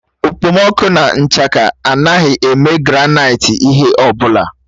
Okpomọkụ na nchaka amaghị eme granaịti ihe ọ bụla.